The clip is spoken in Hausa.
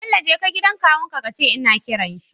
Bello jeka gidan kawun ka kace ina kiran shi